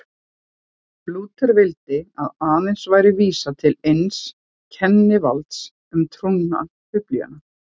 Lúther vildi að aðeins væri vísað til eins kennivalds um trúna, Biblíunnar.